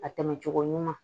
A tɛmɛ cogo ɲuman